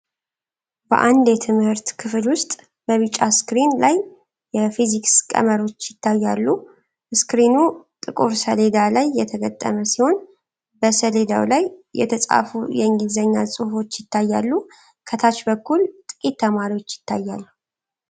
በአንድ የትምህርት ክፍል ውስጥ፣ በቢጫ ስክሪን ላይ የፊዚክስ ቀመሮች ይታያሉ። ስክሪኑ ጥቁር ሰሌዳ ላይ የተገጠመ ሲሆን፣ በሰሌዳው ላይ የተጻፉ የእንግሊዝኛ ጽሑፎች ይታያሉ። ከታች በኩል ጥቂት ተማሪዎች ይታያሉ።